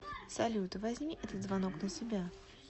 салют возьми этот звонок на себя